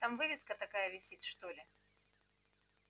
там вывеска такая висит что ли